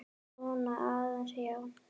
Svona aðeins, já.